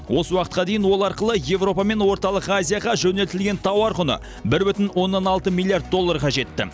осы уақытқа дейін ол арқылы еуропа мен орталық азияға жөнелтілген тауар құны бір бүтін оннан алты миллиард долларға жетті